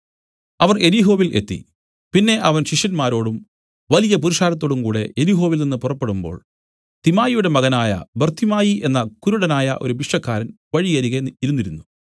അവർ യെരിഹോവിൽ എത്തി പിന്നെ അവൻ ശിഷ്യന്മാരോടും വലിയ പുരുഷാരത്തോടും കൂടെ യെരിഹോവിൽ നിന്നു പുറപ്പെടുമ്പോൾ തിമായിയുടെ മകനായ ബർത്തിമായി എന്ന കുരുടനായ ഒരു ഭിക്ഷക്കാരൻ വഴിയരികെ ഇരുന്നിരുന്നു